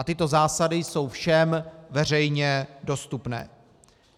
A tyto zásady jsou všem veřejně dostupné.